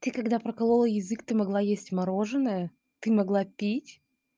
ты когда проколола язык ты могла есть мороженое ты могла пить